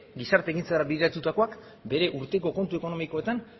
gizarte ekintzara bideratutakoak bere urteko kontu ekonomikoetan